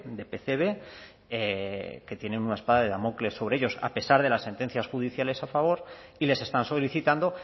de pcb que tienen una espada de damocles sobre ellos a pesar de las sentencias judiciales a favor y les están solicitando